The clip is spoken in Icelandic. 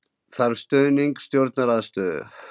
Þarf stuðning stjórnarandstöðu